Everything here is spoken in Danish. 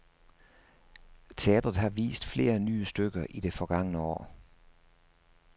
Teatret har vist flere nye stykker i det forgangne år.